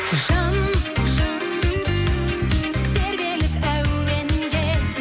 жан тербеліп әуенге